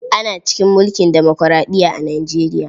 Ana cikin mulkin demokuraɗiya a Nijeriya.